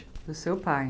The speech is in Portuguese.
Do seu pai.